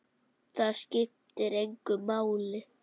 Það skiptir bara engu máli.